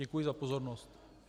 Děkuji za pozornost.